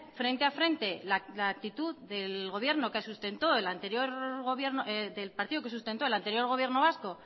frente a frente la actitud del partido que sustentó el anterior gobierno vasco